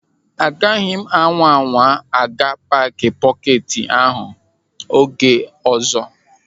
Ị gaghị anwa anwa a ga-paaki pọketi ahụ oge ọzọ.